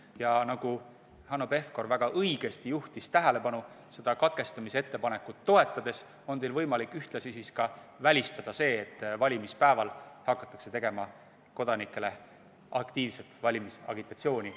Ja nagu Hanno Pevkur väga õigesti tähelepanu juhtis, on teil katkestamisettepanekut toetades võimalik välistada see, et valimispäeval hakataks kodanikele tegema aktiivset valimisagitatsiooni.